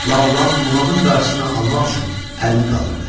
Laolan buğanın qarşısını almaq üçün əlini qaldırdı.